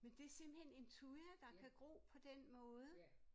Men det simpelthen en thuja der kan gro på den måde